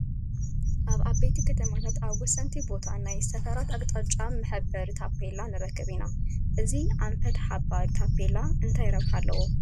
ኣብ ዓበይቲ ከተማታት ኣብ ወሰንቲ ቦታ ናይ ሰፈራት ኣቕጣጫ ዝሕብር ታፔላ ንረክብ ኢና፡፡ እዚ ኣንፈት ሓባሪ ታፔላ እንታይ ረብሓ ኣለዎ?